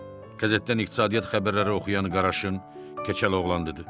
Qəzetdən iqtisadiyyat xəbərləri oxuyan Qaraşın keçəl oğlan dedi.